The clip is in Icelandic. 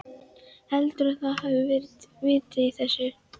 Heldurðu að það hafi verið vit í þessu?